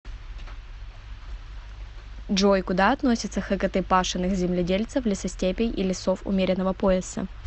джой куда относятся хкт пашенных земледельцев лесостепей и лесов умеренного пояса